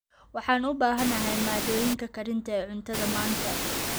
Waxaan u baahanahay maaddooyinka karinta ee cuntada maanta.